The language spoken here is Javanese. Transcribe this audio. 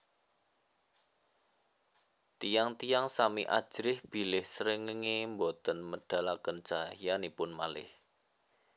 Tiyang tiyang sami ajrih bilih srengéngé boten medalaken cahyanipun malih